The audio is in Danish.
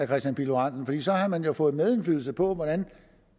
kristian pihl lorentzen for så havde man jo fået medindflydelse på hvordan